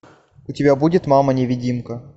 у тебя будет мама невидимка